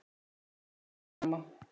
Guð blessi þig, elsku amma.